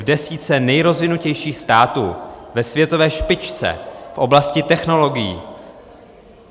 V desítce nejrozvinutějších států, ve světové špičce v oblasti technologií.